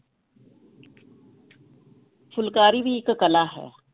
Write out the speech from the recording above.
ਫੁਲਕਾਰੀ ਵੀ ਇੱਕ ਕਲਾ ਹੈ,